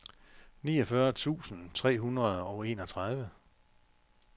niogfyrre tusind tre hundrede og enogtredive